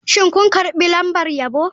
Shin kun karbi lambar yabo?